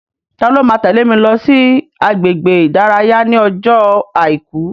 Ta ló máa tẹ́lè mi lọ sí agbègbè ìdárayá ní ọjọ́ àìkú?